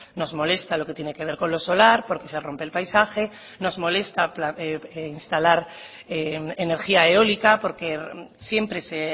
nos molesta lo que tiene que ver con lo solar porque se rompe el paisaje nos molesta instalar energía eólica porque siempre se